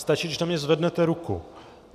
Stačí, když na mě zvednete ruku.